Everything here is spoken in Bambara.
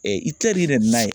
Itilɛri nana n'a ye